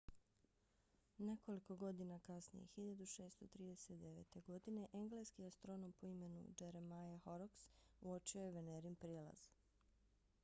nekoliko godina kasnije 1639. godine engleski astronom po imenu jeremiah horrocks uočio je venerin prijelaz